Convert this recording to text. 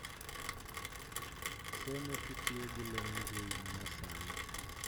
Somo kitiyo gi lony mbui ma nyasani